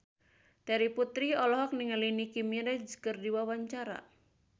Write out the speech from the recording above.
Terry Putri olohok ningali Nicky Minaj keur diwawancara